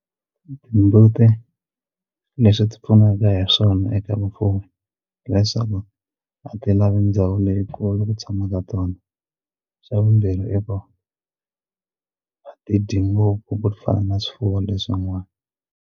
Timbuti leswi ti pfunaka hi swona eka vufuwi leswaku a ti lavi ndhawu leyikulu ku tshamaka tona xa vumbirhi i ku a ti dyi ngopfu ku fana na swifuwo leswin'wana.